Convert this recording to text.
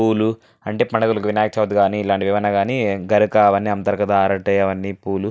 పూలు పండగలకు కానీ అంటే వినాయక చవితికి కానీ ఇలాంటివి ఏమైనాగాని గరిక అవ్వని అమ్ముతారు గా అరటి అవ్వని పూలు --